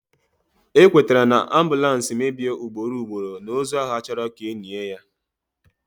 Ekwetere na, ambulance mebie ugboro ugboro, na ozu ahụ achọrọ ka enie ya